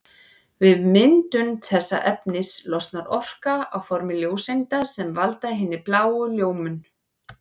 Við myndun þessa efnis losnar orka á formi ljóseinda sem valda hinni bláu ljómun.